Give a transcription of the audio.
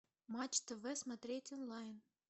матч тв смотреть онлайн